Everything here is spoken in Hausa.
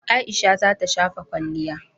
Aisha za ta shafa kwalliya.